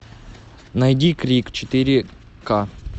найди крик четыре ка